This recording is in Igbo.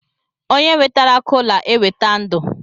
Onye wetara kola eweta ndu